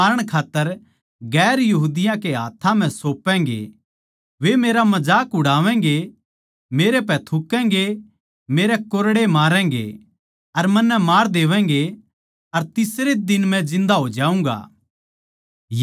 देक्खो हम यरुशलेम नगर म्ह जावां सा अर मै माणस का बेट्टा प्रधान याजकां अर शास्त्रियाँ कै हाथ्थां पकड़वाया जाऊँगा अर वे मन्नै मारण खात्तर गैर यहूदियाँ कै हाथ्थां म्ह सौपैगें